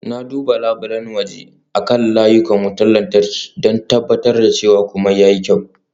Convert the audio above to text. Na duba labulen waje akan layukan wutar lantarki, don tabbatar da cewa komai ya yi kyau.